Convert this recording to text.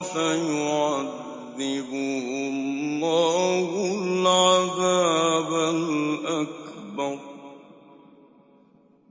فَيُعَذِّبُهُ اللَّهُ الْعَذَابَ الْأَكْبَرَ